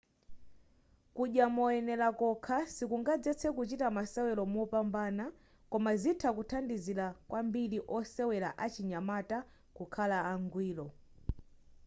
kudya moyenela kokha sikungazetse kuchita masewelo mopambana koma zitha kuthandizila kwambiri osewela achinyamata kukhala angwiro